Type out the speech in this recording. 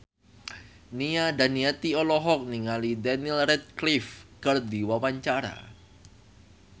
Nia Daniati olohok ningali Daniel Radcliffe keur diwawancara